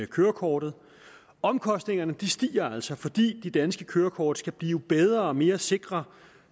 kørekortet omkostningerne stiger altså fordi de danske kørekort skal blive bedre og mere sikre